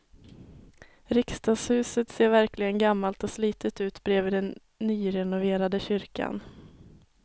Riksdagshuset ser verkligen gammalt och slitet ut bredvid den nyrenoverade kyrkan.